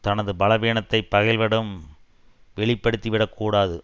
தனது பலவீனத்தை பகைவரிடம் வெளிப்படுத்திவிடக் கூடாது